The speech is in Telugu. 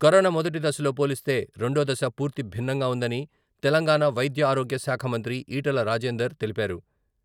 కరోనా మొదటి దశతో పోలిస్తే రెండో దశ పూర్తి భిన్నంగా ఉందని తెలంగాణ వైద్యారోగ్యశాఖ మంత్రి ఈటెల రాజేందర్ తెలిపారు.